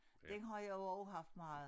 Den har jeg jo også haft meget